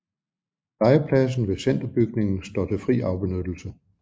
Legepladsen ved Centerbygningen står til fri afbenyttelse